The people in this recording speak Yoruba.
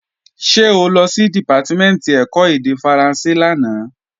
Ṣé o lọ sí Dìpátímẹ̀ntì ẹ̀kọ́ èdè Faransé lánàá?